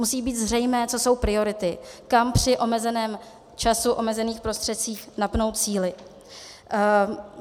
Musí být zřejmé, co jsou priority, kam při omezeném času, omezených prostředcích napnout síly.